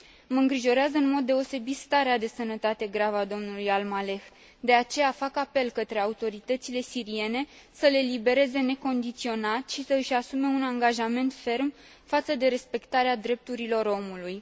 Mă îngrijorează în mod deosebit starea de sănătate gravă a domnului Al Maleh, de aceea fac apel către autoritățile siriene să l elibereze necondiționat și să și asume un angajament ferm față de respectarea drepturilor omului.